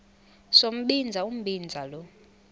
sombinza umbinza lo